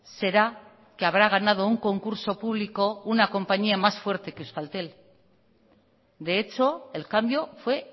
será que habrá ganado un concurso público una compañía más fuerte que euskaltel de hecho el cambio fue